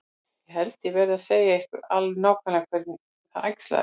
Ég held ég verði að segja ykkur alveg nákvæmlega hvernig það æxlaðist til.